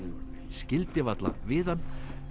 skildi varla við hann